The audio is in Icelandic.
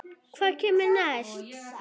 Hvað kemur næst?